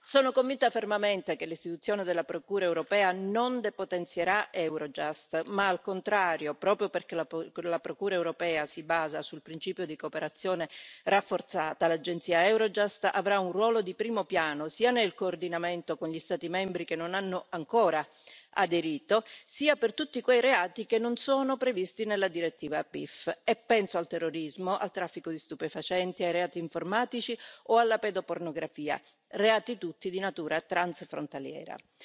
Sono convinta fermamente che l'istituzione della Procura europea non depotenzierà Eurojust ma, al contrario, proprio perché la Procura europea si basa sul principio di cooperazione rafforzata, l'agenzia Eurojust avrà un ruolo di primo piano sia nel coordinamento con gli Stati membri che non hanno ancora aderito, sia per tutti quei reati che non sono previsti nella direttiva PIF, e penso al terrorismo, al traffico di stupefacenti, ai reati informatici o alla pedopornografia, reati tutti di natura transfrontaliera.